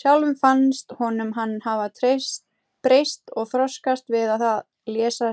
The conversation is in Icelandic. Sjálfum fannst honum hann hafa breyst og þroskast við það að lesa